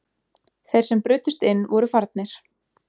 Þeir sem brutust inn voru farnir